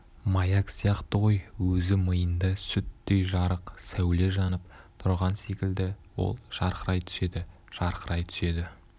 маяк сияқты ғой өзі миында сүттей жарық сәуле жанып тұрған секілді ол жарқырай түседі жарқырай түседі